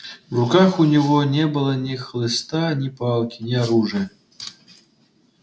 в руках у него не было ни хлыста ни палки ни оружия